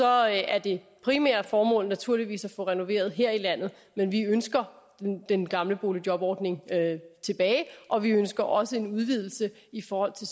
er er det primære formål naturligvis at få renoveret her i landet men vi ønsker den gamle boligjobordning tilbage og vi ønsker også en udvidelse i forhold til